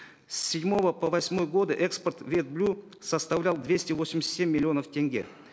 с седьмого по восьмой годы экспорт вет составлял двести восемьдесят семь миллионов тенге